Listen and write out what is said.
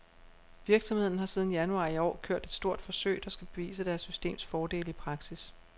Virksomheden har siden januar i år kørt et stort forsøg, der skal bevise deres systems fordele i praksis.